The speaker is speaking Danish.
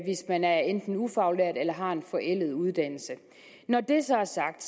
man er enten ufaglært eller har en forældet uddannelse når det så er sagt